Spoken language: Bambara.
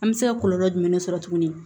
An bɛ se ka kɔlɔlɔ jumɛn sɔrɔ tuguni